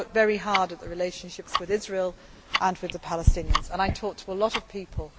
we have. I work very hard at the relationships with Israel and the Palestinians and I talk to a lot